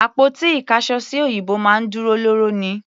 Àpótí ìkáṣọsí òyìnbó máa ń dúró lóòró ni.